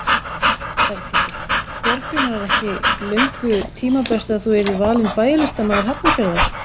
Berghildur: Björgvin var ekki löngu tímabært að þú yrðir valinn bæjarlistamaður Hafnarfjarðar?